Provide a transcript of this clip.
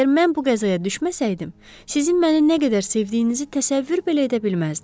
Əgər mən bu qəzaya düşməsəydim, sizin məni nə qədər sevdiyinizi təsəvvür belə edə bilməzdim.